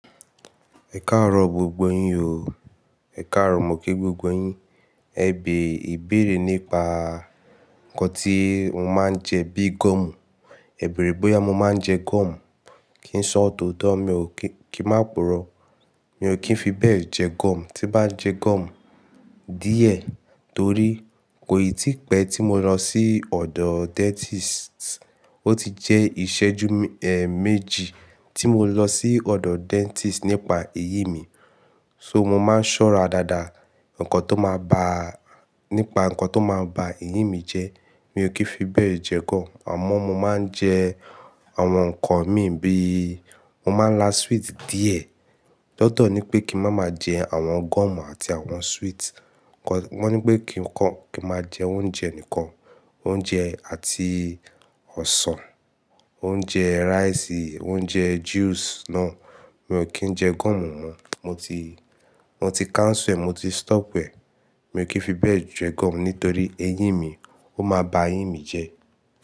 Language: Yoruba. Ẹ̀karọ̀ gbogbo yín o. Ẹ̀karọ̀ mọ ki gbogbo yín. Ẹ bè ìbéèrè nípa nǹkan tí mo máa ń jẹ bíi gọ́ọ̀mù. Ẹ bèèrè bóyá mo máa ń jẹ gọ́ọ̀mù. Kí n sọ òtò dandan, mi ò kí-- kí n má poró. Mi ò kí ń fi bẹ́ẹ̀ jẹ gọ́ọ̀mù, tí bá jẹ gọ́ọ̀mù díẹ̀ torí kò yí tipẹ́ tí mo lọ sí ọ̀dọ̀ dentist. Ó ti jẹ́ ìṣẹ́jú, ehn, méjì tí mo lọ sí ọ̀dọ̀ dentist nípa eyín mi. Nitori naa, mo máa ń ṣọ́ra dáadáa nǹkan tó máa ba-- nípa nǹkan tó máa ba eyín mi jẹ́. Mi ò kí ń fi bẹ́ẹ̀ jẹ gọ́ọ̀mù. Àmọ́ mo máa ń jẹ àwọn nǹkan mí bíi mo máa ń la sweet díẹ̀. Dandan ni pé kí n má máa jẹ àwọn gọ́ọ̀mù àti àwọn sweet. Wọ́n, wọ́n ní pé kí n kó-- kí n má jẹ oúnjẹ nìkan. Oúnjẹ àti ọsàn, oúnjẹ rice, oúnjẹ juice náà. Mi ò kí ń jẹ gọ́ọ̀mù mọ́. Mo ti, wọn ti fagilẹ̀, mo ti daduro. Mi ò kí ń fi bẹ́ẹ̀ jẹ gọ́ọ̀mù nítorí eyín mi. Ó máa ba eyín mi jẹ́.